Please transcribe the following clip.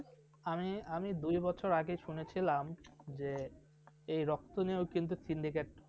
আমি আমি দুই বছর আগে শুনেছিলাম এই রক্ত নিয়েও কিন্তু syndicate